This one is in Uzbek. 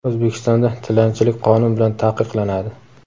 O‘zbekistonda tilanchilik qonun bilan taqiqlanadi.